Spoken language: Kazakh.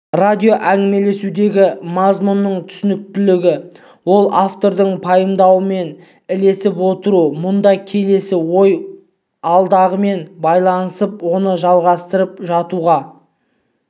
радио әңгімелесудегі мазмұнның түсініктілігі ол автордың пайымдауымен ілесіп отыру мұнда келесі ой алдағымен байланысып соны жалғастырып жатуға